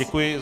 Děkuji.